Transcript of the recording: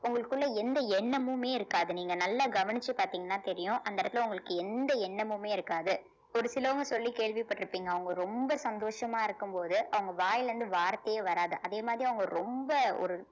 உங்களுக்குள்ள எந்த எண்ணமுமே இருக்காது நீங்க நல்லா கவனிச்சு பார்த்தீங்கன்னா தெரியும் அந்த இடத்துல உங்களுக்கு எந்த எண்ணமுமே இருக்காது ஒரு சிலவங்க சொல்லி கேள்விப்பட்டிருப்பீங்க அவங்க ரொம்ப சந்தோஷமா இருக்கும்போது அவங்க வாயில இருந்து வார்த்தையே வராது அதே மாதிரி அவங்க ரொம்ப ஒரு